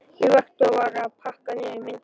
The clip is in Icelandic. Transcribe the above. Ég vakti og var að pakka niður myndunum.